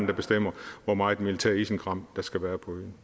der bestemmer hvor meget militært isenkram der skal være på øen